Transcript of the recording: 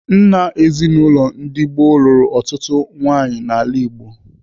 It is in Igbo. Nna ezinaụlọ ndị gboo lụrụ ọtụtụ nwaanyị n'ala Igbo.